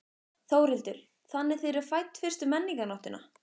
Þórhildur: Þannig þið eru fædd fyrstu Menningarnóttina?